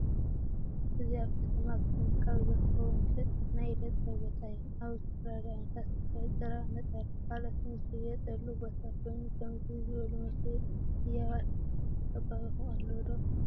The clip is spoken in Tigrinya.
እዚ አብ ከተማ አክሱም ካብ ዝርከቡ መሽጥ ናይ ኢደ ጥበብ ቦታ እዩ። አብዚ ዝተፈላለዩ ዓይነታት ስፈ፣ ጭራ፣ ነፀላ ካልአትን ዝሽየጠሉ ቦታ ኮይኑ ከምዚ ዝበሉ መሽጢ ህያባት አብ ከባቢከም አሎ ዶ?